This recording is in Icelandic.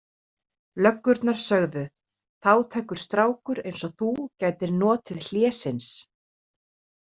Löggurnar sögðu: Fátækur strákur eins og þú gætir notið hlésins.